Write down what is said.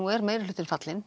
er meirihlutinn fallinn